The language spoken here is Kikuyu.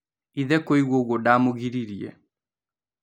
Ithe kũigua ũgwo ndamũgiririe.